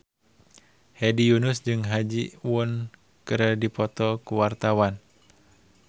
Hedi Yunus jeung Ha Ji Won keur dipoto ku wartawan